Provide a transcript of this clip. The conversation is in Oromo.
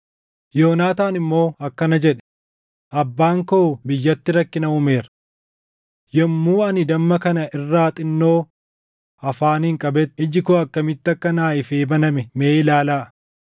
Yoonaataan immoo akkana jedhe; “Abbaan koo biyyatti rakkina uumeera. Yommuu ani damma kana irraa xinnoo afaaniin qabetti iji koo akkamitti akka naaf ifee baname mee ilaalaa.